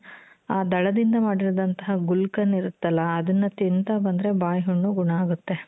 ಆ ದಳದಿಂದ ಮಾಡಿದಂತಹ ??????? ಇರುತ್ತಲ ಅದನ್ನ ತಿಂತಾ ಬಂದ್ರೆ ಬಾಯಿ ಹುಣ್ಣು ಗುಣ ಆಗುತ್ತೆ .